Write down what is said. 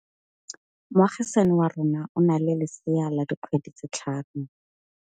Moagisane wa rona o na le lesea la dikgwedi tse tlhano.